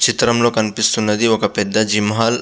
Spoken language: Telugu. చిత్రం లొ కనిపెస్తునది పేద జిమ్ హాల్ .